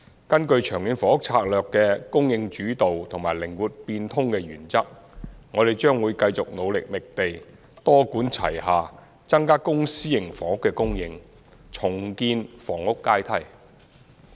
根據《長遠房屋策略》的"供應主導"和"靈活變通"的原則，我們將會繼續努力覓地，多管齊下增加公私營房屋的供應，重建房屋階梯。